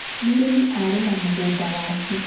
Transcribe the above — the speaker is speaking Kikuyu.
Mũrĩmi arĩma mũgũnda wake.